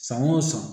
San o san